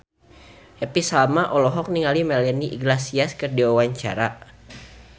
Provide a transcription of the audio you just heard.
Happy Salma olohok ningali Melanie Iglesias keur diwawancara